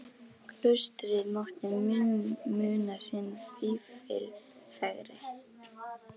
Klaustrið mátti muna sinn fífil fegri.